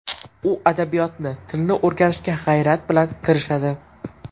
U adabiyotni, tilni o‘rganishga g‘ayrat bilan kirishadi.